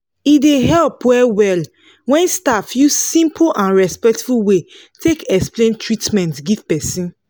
e dey help well well when staff use simple and respectful way take explain treatment give person.